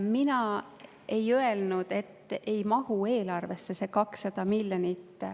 Mina ei öelnud, et see 200 miljonit ei mahu eelarvesse.